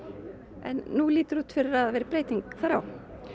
en nú lítur út fyrir að það verði breyting þar á